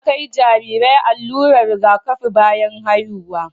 Ana kai Jarirai allurar Riga kafi bayan haihuwa